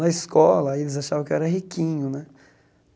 Na escola, eles achavam que eu era riquinho né.